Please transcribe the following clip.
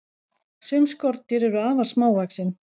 Sum skordýr eru afar smávaxin.